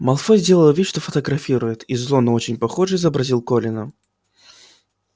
малфой сделал вид что фотографирует и зло но очень похоже изобразил колина